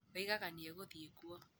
Oigaga nĩ egũthiĩ kuo.